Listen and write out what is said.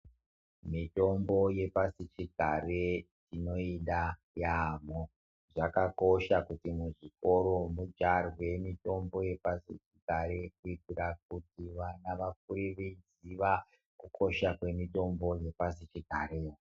Mitombo yepasichigare tinoda yaamho. Zvakakosha kuti muzvikora mudyarwe mitombo yepasichigare kuitira kuti vana vakure veiziya kukosha kwemitombo yepasichigare.